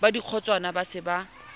ba dikgotswana ba se ba